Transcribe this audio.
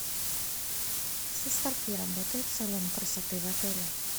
со скольки работает салон красоты в отеле